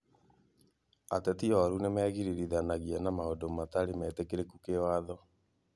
Ateti oru nĩmegiririthanagia na maũndũ matarĩ metĩkĩrĩku kĩwatho